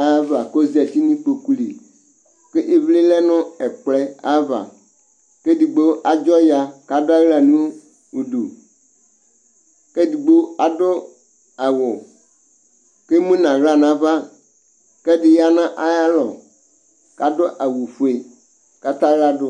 ayava kozati nʊ ɩkpoƙʊ lɩ Ƙʊ ɩʋlɩ lɛ ŋ7 ɛƙplɔ aʋa, kedigbo adzɔ ya kadʊ awla ŋʊ ʊdʊ Kedigbo adʊ awʊ kemʊ nawla nava, kɛdi ya nayalɔ kadʊ awʊ fʊe, katawla dʊ